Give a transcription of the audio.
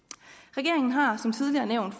regeringen har som tidligere nævnt